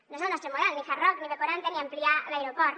no és el nostre model ni hard rock ni b quaranta ni ampliar l’aeroport